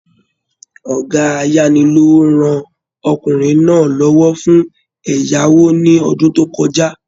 Ọgá ayani-lowo rán ọkùnrin náà l'ọwọ fún ẹyàwò ní ọdún to kọjá.